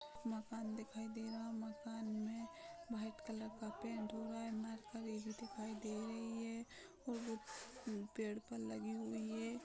मकान दिखाई दे रहा है मकान में व्हाइट कलर के पैंट हुआ है दिखाई दे रही है और पेड़ पर लागि हुई हैं ।